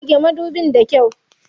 Goge madubin da kyau.